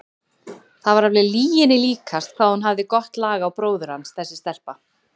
Það var alveg lyginni líkast hvað hún hafði gott lag á bróður hans þessi stelpa!